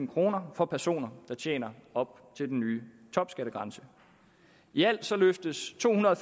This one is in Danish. kroner for personer der tjener op til den nye topskattegrænse i alt løftes tohundrede